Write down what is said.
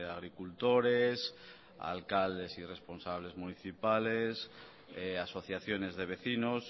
agricultores alcaldes y responsables municipales asociaciones de vecinos